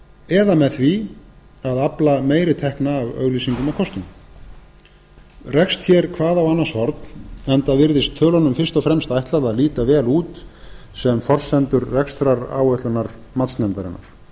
eða með því að afla meiri tekna af auglýsingum og kostun rekst hér hvað á annars horn enda virðist tölunum fyrst og fremst ætlað að líta vel út sem forsendur rekstraráætlunar matsnefndarinnar raunar